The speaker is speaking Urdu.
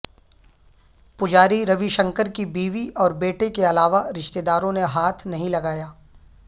پجاری روی شنکر کی بیوی اور بیٹے کے علاوہ رشتہ داروں نے ہاتھ نہیں لگایا